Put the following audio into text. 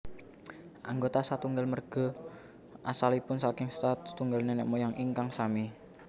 Anggota satunggal merge asalipun saking satunggal nenek moyang ingkang sami